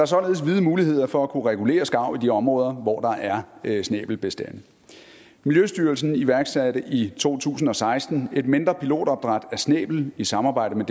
således vide muligheder for at kunne regulere skarv i de områder hvor der er snæbelbestande miljøstyrelsen iværksatte i to tusind og seksten et mindre pilotopdræt af snæblen i samarbejde med